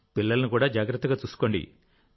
పిల్లలను జాగ్రత్తగా చూసుకోండి